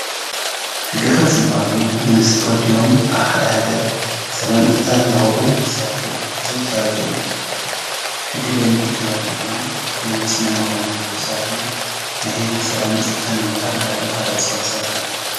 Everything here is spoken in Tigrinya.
ሕጊ ኣኽበርቲ ዝበሃሉ ብመንግስቲ ተወዲቦም ኣብ ሓደ ሃገር ሰላምን ፀጥታን ዘኽብሩ ሰባት እዮም፡፡ እዞም ሰባት እዚኦም ሕጊ ደንቢ ተረዲእዎም፣ ደንቢ ስነ ምግባርን ዝሓለዉ ሰባትን ናይ ህዝቢ ሰላምን ፀጥታን ኣብ ምኽባር ዝለዓለ ተራ ዝፃወቱ ሰባት እዮም፡፡